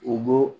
U bɔ